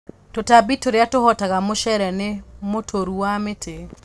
Tutambi turia tuhotaga mucere ni mũtũrũ wa mĩtĩ